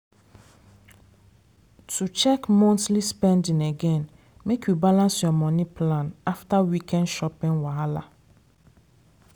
to check monthly spending again make you balance your money plan after weekend shopping wahala.